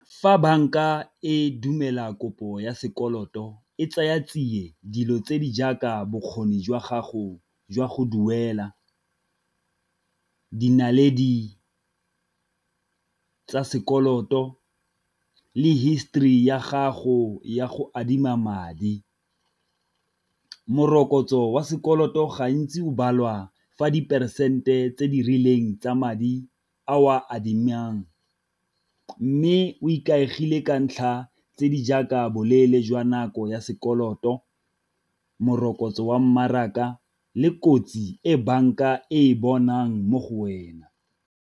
Fa banka e dumela kopo ya sekoloto e tsaya tsiye dilo tse di jaaka bokgoni jwa gago jwa go duela, di naledi tsa sekoloto le history ya gago ya go adima madi. Morokotso wa sekoloto gantsi o balwa fa diperesente tse di rileng tsa madi a o a adimang, mme o ikaegile ka ntlha tse di jaaka boleele jwa nako ya sekoloto, morokotso wa mmaraka le kotsi e banka e e bonang mo go wena.